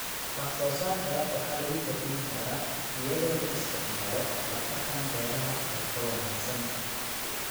Wax-soo-saarka waxa lagu kordhin karaa iyadoo la isticmaalo hab-dhaqanka beeraha ee ka wanaagsan.